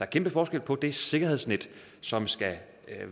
kæmpe forskel på det sikkerhedsnet som skal